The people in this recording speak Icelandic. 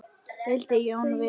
vildi Jón vita.